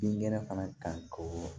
Binkɛnɛ fana kan ko